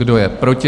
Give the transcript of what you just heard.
Kdo je proti?